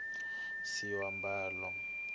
ku xavisiwa swiambalo